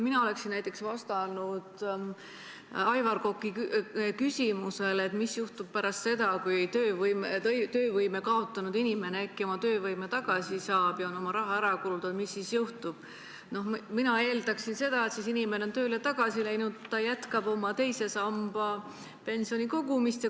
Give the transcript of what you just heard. Mina oleksin Aivar Koka küsimusele, mis juhtub pärast seda, kui töövõime kaotanud inimene äkki oma töövõime tagasi saab ja on oma raha ära kulutanud, vastates eeldanud näiteks seda, et siis läheb inimene tööle tagasi ja jätkab teise sambasse pensioni kogumist.